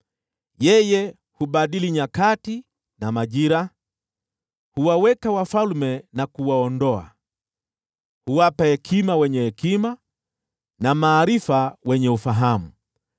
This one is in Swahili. Yeye hubadili nyakati na majira; huwaweka wafalme na kuwaondoa. Huwapa hekima wenye hekima, na maarifa wenye ufahamu.